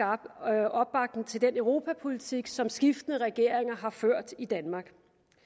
opbakning til den europapolitik som skiftende regeringer har ført i danmark